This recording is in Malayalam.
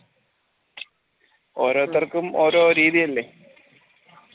ഓരോരുത്തർക്കും ഓരോ രീതിയല്ലേ